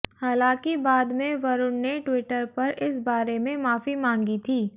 हालांकि बाद में वरुण ने ट्विटर पर इस बारे में माफी मांगी थी